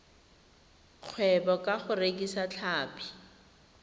kgwebo ka go rekisa tlhapi